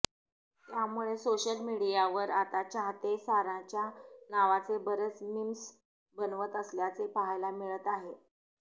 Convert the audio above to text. त्यामुळे सोशल मीडियावर आता चाहते साराच्या नावाने बरेच मिम्स बनवत असल्याचे पाहायला मिळत आहे